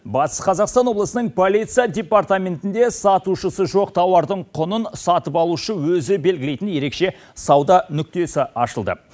батыс қазақстан облысының полиция департаментінде сатушысы жоқ тауардың құнын сатып алушы өзі белгілейтін ерекше сауда нүктесі ашылды